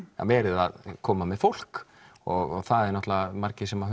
verið að koma með fólk og það eru margir sem